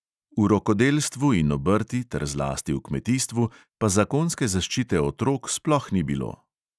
V rokodelstvu in obrti ter zlasti v kmetijstvu pa zakonske zaščite otrok sploh ni bilo.